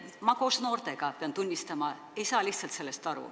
Ma koos noortega, pean tunnistama, ei saa sellest lihtsalt aru.